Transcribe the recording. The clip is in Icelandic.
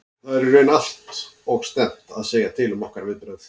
Það er í raun allt og snemmt að segja til um okkar viðbrögð.